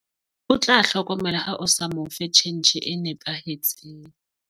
o tla hlokomela ha o sa mo fe tjhentjhe e nepahetseng